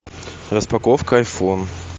распаковка айфон